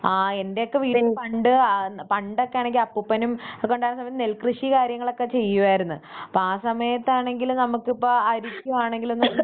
ആഹ് എന്റെയോക്കെ വീട്ടിൽ പണ്ട് ആഹ് പണ്ടൊക്കെയാണെങ്കിൽ അപ്പൂപ്പനും ഒക്കെ ഉണ്ടായിരുന്ന സമയത്ത് നെൽ കൃഷിയും കാര്യങ്ങളൊക്കെ ചെയ്യുമായിരുന്നു അപ്പം ആ സമയത്താണെങ്കിൽ നമുക്കിപ്പം അരിക്കാണെങ്കിലും ബുദ്ധിമുട്ടുമില്ല.